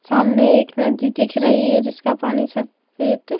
सामने एक नदी दिख रही है जिसका पानी सफेद--